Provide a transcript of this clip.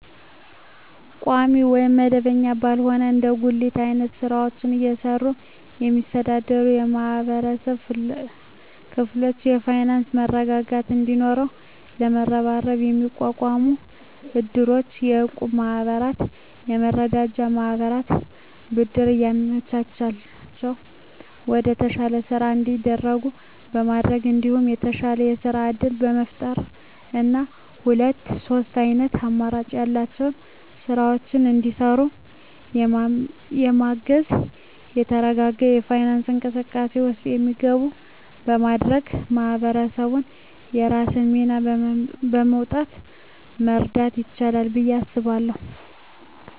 ቋሚ ወይም መደበኛ ባልሆነ እንደ ጉሊት አይነት ስራወችን እየሰሩ የሚስተዳደሩ የማህበረሰብ ክፍሎች የፋይናንሰ መረጋጋት እንዲኖራቸው በመሀበረሰቡ የሚቋቋሙ እድሮች፣ የእቁብ ማህበራትና የመረዳጃ ማህበራት ብድር እያመቻቸላቸው ወደተሻለ ስራ እንዲያድጉ በማድረግ እንዲሁም የተሻለ የስራ እድል በመፍጠርና ሁለት ሶስት አይነት አማራጭ ያላቸውን ስራወች እንዲሰሩ በማገዝ የተረጋጋ የፋይናንስ እንቅስቃሴ ውስጥ እንዲገቡ በማድረግ ማህበረሰቡ የራሱን ሚና በመወጣት መርዳት ይችላል ብየ አስባለሁ።